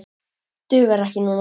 Dugar ekki núna.